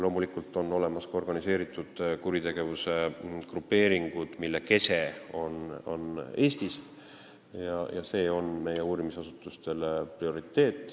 Loomulikult on olemas ka organiseeritud kuritegevuse grupeeringud, mille kese on Eestis, ja see on meie uurimisasutuste prioriteet.